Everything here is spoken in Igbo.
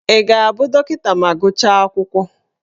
Ị ga-abụ dọkịta ma gụchaa akwụkwọ?